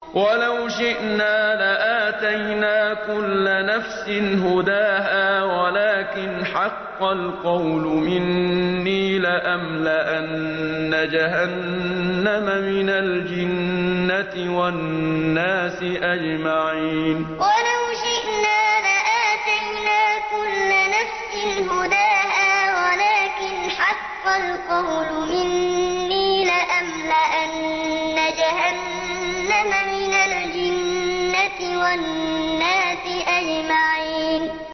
وَلَوْ شِئْنَا لَآتَيْنَا كُلَّ نَفْسٍ هُدَاهَا وَلَٰكِنْ حَقَّ الْقَوْلُ مِنِّي لَأَمْلَأَنَّ جَهَنَّمَ مِنَ الْجِنَّةِ وَالنَّاسِ أَجْمَعِينَ وَلَوْ شِئْنَا لَآتَيْنَا كُلَّ نَفْسٍ هُدَاهَا وَلَٰكِنْ حَقَّ الْقَوْلُ مِنِّي لَأَمْلَأَنَّ جَهَنَّمَ مِنَ الْجِنَّةِ وَالنَّاسِ أَجْمَعِينَ